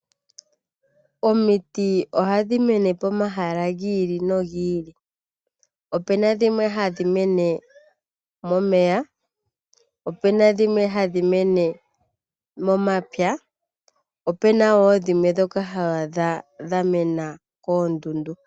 Omiti ohadhi mene pomahala gi ili nogi ili. Opu na dhimwe hadhi mene momeya, opu na dhimwe hadhi mene momapya opu na wo dhimwe ndhoka ho adha dha mena koondundu.